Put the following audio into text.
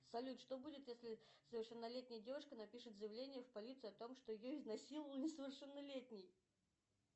салют что будет если совершеннолетняя девушка напишет заявление в полицию о том что ее изнасиловал несовершеннолетний